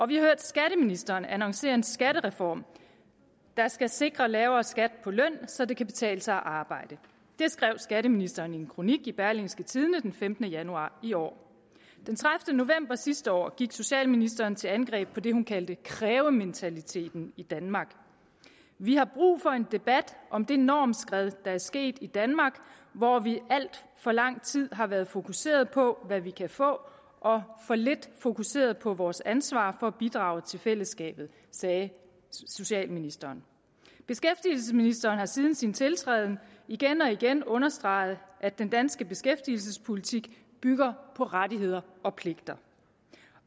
vi har hørt skatteministeren annoncere en skattereform der skal sikre lavere skat på løn så det kan betale sig at arbejde det skrev skatteministeren i en kronik i berlingske tidende den femtende januar i år den tredivete november sidste år gik socialministeren til angreb på det hun kaldte krævementaliteten i danmark vi har brug for en debat om det normskred der er sket i danmark hvor vi alt for lang tid har været fokuseret på hvad vi kan få og for lidt fokuseret på vores ansvar for at bidrage til fællesskabet sagde socialministeren beskæftigelsesministeren har siden sin tiltræden igen og igen understreget at den danske beskæftigelsespolitik bygger på rettigheder og pligter